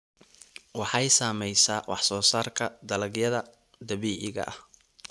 Waxay saamaysaa wax soo saarka dalagyada dabiiciga ah.